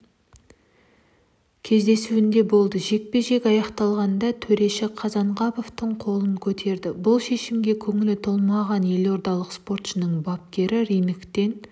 кездесуінде болды жекпе-жек аяқталғанда төреші қазанғаповтың қолын көтереді бұл шешімге көңілі толмағанелордалық спортшының бапкері рингтен